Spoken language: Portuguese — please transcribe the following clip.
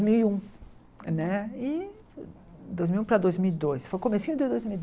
mil e um né e dois mil e um para dois mil e dois, foi o comecinho de dois mil e dois.